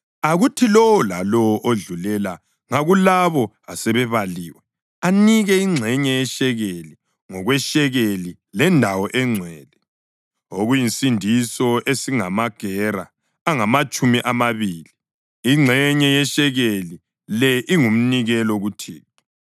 Akuthi lowo lalowo odlulela ngakulabo asebebaliwe anike ingxenye yeshekeli, ngokweshekeli lendawo engcwele, okuyisisindo esingamagera angamatshumi amabili. Ingxenye yeshekeli le ingumnikelo kuThixo.